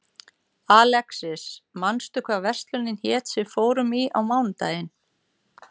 Alexis, manstu hvað verslunin hét sem við fórum í á mánudaginn?